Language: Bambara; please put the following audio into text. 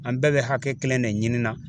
An bɛɛ bɛ hakɛ kelen de ɲini na.